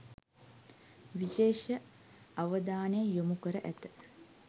විශේෂ අවධානය යොමු කර ඇත.